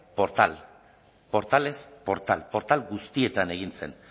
portal portalez portal portal guztietan egin zen